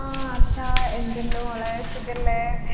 ആ അർഷാ എന്തുണ്ട് മോളെ സുഖല്ലേ